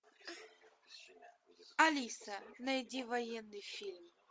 алиса найди военный фильм